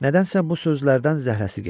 Nədənsə bu sözlərdən zəhləsi getdi.